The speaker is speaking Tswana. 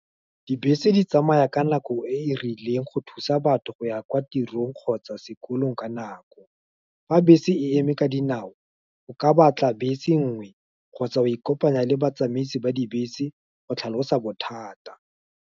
Dibese di tsamaya ka nako e e rileng, go thusa batho go ya kwa tirong kgotsa sekolong ka nako, fa bese e eme ka dinao, o ka batla bese nngwe, kgotsa o kopanya le batsamaisi ba dibese, go tlhalosa bothata.